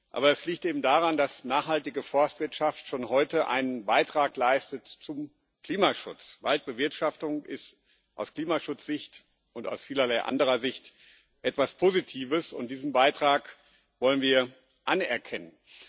Aber es liegt eben daran, dass nachhaltige Forstwirtschaft schon heute einen Beitrag zum Klimaschutz leistet. Waldbewirtschaftung ist aus Klimaschutzsicht und aus vielerlei anderer Sicht etwas Positives, und diesen Beitrag wollen wir anerkennen.